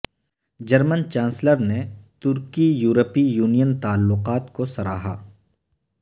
German chancellor نے ترکی یورپی یونین تعلقات کو سراہا